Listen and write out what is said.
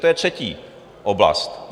To je třetí oblast.